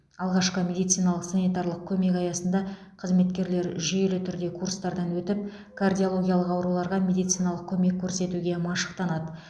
алғашқы медициналық санитарлық көмек аясында қызметкерлер жүйелі түрде курстардан өтіп кардиологиялық ауруларға медициналық көмек көрсетуге машықтанады